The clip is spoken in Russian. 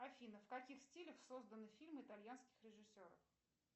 афина в каких стилях созданы фильмы итальянских режиссеров